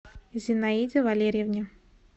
зинаиде валерьевне